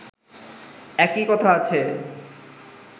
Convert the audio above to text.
একই কথা আছে